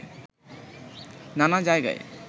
নানা জায়গায়